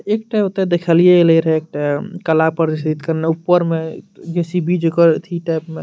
एकटा ओते देखलिए एले रहे एकटा कला प्रदर्शित करना ऊपर में जे.सी.बी. जना एथी टाइप में --